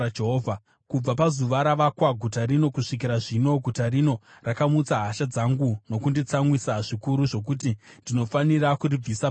Kubva pazuva rakavakwa guta rino kusvikira zvino, guta rino rakamutsa hasha dzangu nokunditsamwisa zvikuru zvokuti ndinofanira kuribvisa pamberi pangu.